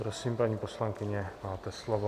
Prosím, paní poslankyně, máte slovo.